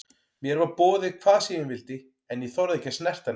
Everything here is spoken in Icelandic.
Mér var boðið hvað sem ég vildi en ég þorði ekki að snerta neitt.